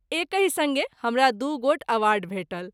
एकहि संगे हमरा दू गोट अवार्ड भेटल।